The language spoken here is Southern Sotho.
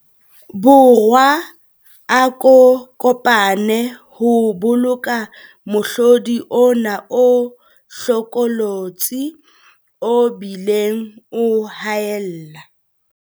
Borwa a ko pane ho boloka mohlodi ona o hlokolotsi o bileng o haella.